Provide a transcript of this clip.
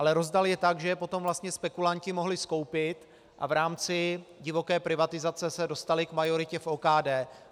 Ale rozdal je tak, že je potom vlastně spekulanti mohli skoupit a v rámci divoké privatizace se dostali k majoritě v OKD.